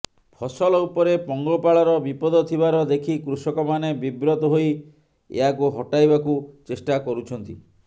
ଫସଲ ଉପରେ ପଙ୍ଗପାଳର ବିପଦ ଥିବାର ଦେଖି କୃଷକମାନେ ବିବ୍ରତ ହୋଇ ଏହାକୁ ହଟାଇବାକୁ ଚେଷ୍ଟା କରୁଛନ୍ତି